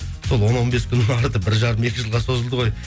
сол он он бес күннің арты бір жарым екі жылға созылды ғой